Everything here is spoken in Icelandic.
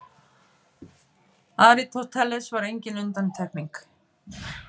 Aristóteles var engin undantekning.